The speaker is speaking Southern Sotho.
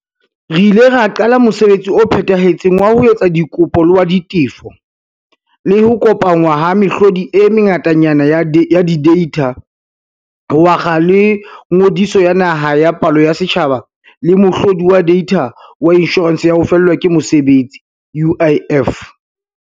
Re ile ra qala mosebetsi o phethahetseng wa ho etsa dikopo le wa ditefo, le ho kopanngwa ha mehlodi e mengatanyana ya dideitha, ho akga le Ngodiso ya Naha ya Palo ya Setjhaba le mohlo di wa deitha wa Inshorense ya ho Fellwa ke Mosebetsi, UIF.